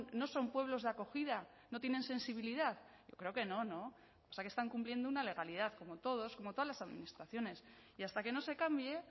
no son pueblos de acogida no tienen sensibilidad yo creo que no no o sea que están cumpliendo una legalidad como todos como todas las administraciones y hasta que no se cambie